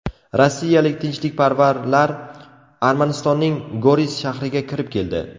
Rossiyalik tinchlikparvarlar Armanistonning Goris shahriga kirib keldi .